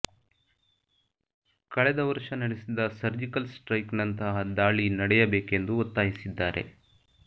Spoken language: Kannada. ಕಳೆದ ವರ್ಷ ನಡೆಸಿದ ಸರ್ಜಿಕಲ್ ಸ್ಟ್ರೈಕ್ ನಂತಹ ದಾಳಿ ನಡೆಯಬೇಕೆಂದು ಒತ್ತಾಯಿಸಿದ್ದಾರೆ